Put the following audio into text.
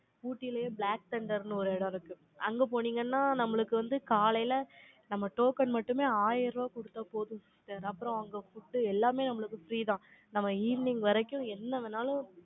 ஊட்டியிலயே, black thunder ன்னு, ஒரு இடம் இருக்கு அங்க போனீங்கன்னா, நம்மளுக்கு வந்து, காலையில, நம்ம token மட்டுமே, ஆயிரம் ரூபாய் குடுத்தா போதும் sister அப்புறம், அங்க food எல்லாமே, நம்மளுக்கு free தான். நம்ம, evening வரைக்கும், என்ன வேணாலும்,